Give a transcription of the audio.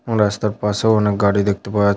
এবং রাস্তার পাশেও অনেক গাড়ি দেখতে পা--